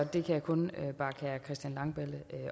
det kan jeg kun bakke herre christian langballe